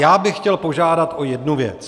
Já bych chtěl požádat o jednu věc.